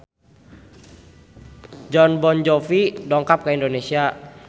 Jon Bon Jovi dongkap ka Indonesia